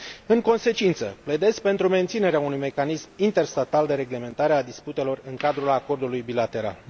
În consecință, pledez pentru menținerea unui mecanism interstatal de reglementare a disputelor în cadrul acordului bilateral.